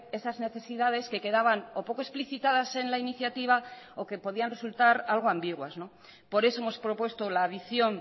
esas necesidades que quedaban o poco explicitadas en la iniciativa o que podían resultar algo ambiguas por eso hemos propuesto la adición